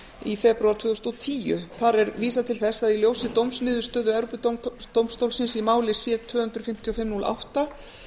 í febrúar tvö þúsund og tíu þar er vísað til þess að í ljósi dómsniðurstöðu evrópudómstólsins í máli c tvö hundruð fimmtíu og fimm núll átta